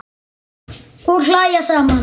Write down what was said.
Og hlæja saman.